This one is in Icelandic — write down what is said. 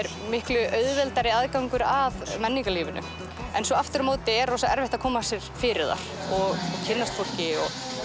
miklu auðveldari aðgangur að menningarlífinu en aftur á móti er erfitt að koma sér fyrir þar og kynnast fólki